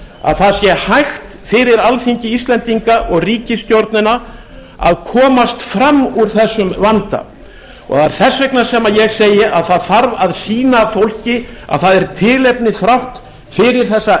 að það sé hægt fyrir alþingi íslendinga og ríkisstjórnina að komast fram úr þessum vanda það er þess vegna sem ég segi að það þarf að sýna fólki að það er tilefni þrátt fyrir þessa